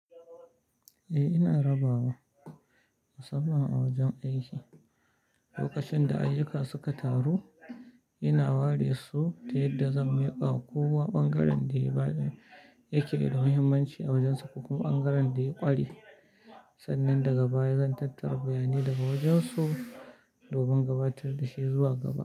Eh, ina rabawa musamman a wajen aiki. Lokacin da ayyuka suka taru, ina ware su ta yadda zan miƙa ko wa ɓangaren da yake da muhimmanci a wajen su, kuma ɓangaren da ya ƙare. Sannan daga baya zan tattara bayanai daga wajen su domin gabatar da shi zuwa gaba.